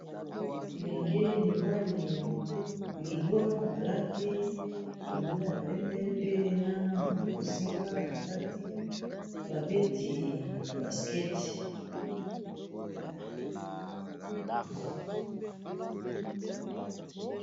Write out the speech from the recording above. lilenge mibali libwa balati bilamba ya pembe pe na bozinga na kati babeti basket